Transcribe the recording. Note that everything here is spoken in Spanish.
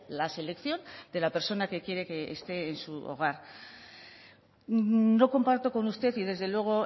la selección de la persona que quiere que esté en su hogar no comparto con usted y desde luego